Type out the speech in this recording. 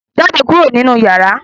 Jáde kúrò nínú yàrá!